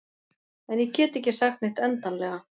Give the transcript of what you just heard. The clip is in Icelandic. En ég get ekki sagt neitt endanlega.